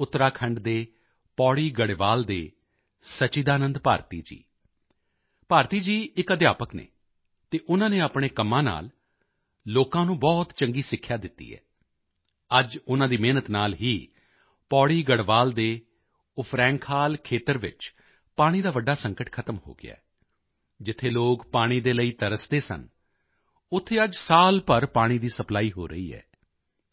ਉਤਰਾਖੰਡ ਦੇ ਪੌੜੀ ਗੜਵਾਲ ਦੇ ਸਚੀਦਾਨੰਦ ਭਾਰਤੀ ਜੀ ਭਾਰਤੀ ਜੀ ਇਕ ਅਧਿਆਪਕ ਹਨ ਅਤੇ ਉਨ੍ਹਾਂ ਨੇ ਆਪਣੇ ਕੰਮਾਂ ਨਾਲ ਵੀ ਲੋਕਾਂ ਨੂੰ ਬਹੁਤ ਚੰਗੀ ਸਿੱਖਿਆ ਦਿੱਤੀ ਹੈ ਅੱਜ ਉਨ੍ਹਾਂ ਦੀ ਮਿਹਨਤ ਨਾਲ ਹੀ ਪੌੜੀ ਗੜਵਾਲ ਦੇ ਉਫਰੈਂਖਾਲ ਖੇਤਰ ਵਿੱਚ ਪਾਣੀ ਦਾ ਵੱਡਾ ਸੰਕਟ ਖਤਮ ਹੋ ਗਿਆ ਹੈ ਜਿੱਥੇ ਲੋਕ ਪਾਣੀ ਦੇ ਲਈ ਤਰਸਦੇ ਸਨ ਉੱਥੇ ਅੱਜ ਸਾਲ ਭਰ ਪਾਣੀ ਦੀ ਸਪਲਾਈ ਹੋ ਰਹੀ ਹੈ